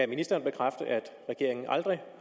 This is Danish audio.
ministeren bekræfte at regeringen aldrig